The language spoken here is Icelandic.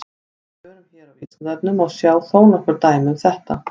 Í svörum hér á Vísindavefnum má sjá þó nokkur dæmi um þetta.